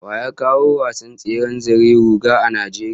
Wa ya kawo wasan tseren zari-ruga a Najeriya?